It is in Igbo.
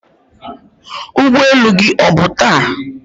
ụgbọ elu gị ọ bụ taa?